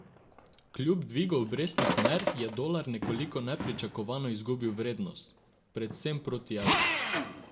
Kljub dvigu obrestnih mer je dolar nekoliko nepričakovano izgubil vrednost, predvsem proti evru.